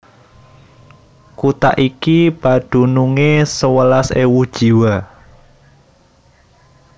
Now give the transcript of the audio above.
Kutha iki padunungé sewelas ewu jiwa